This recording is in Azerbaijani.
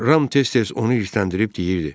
Ram tez-tez onu irisləndirib deyirdi: